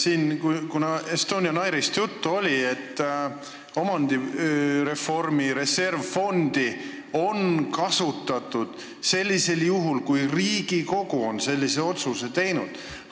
Siin oli juttu Estonian Airist ja et omandireformi reservfondi on kasutatud sellisel juhul, kui Riigikogu on otsuse teinud.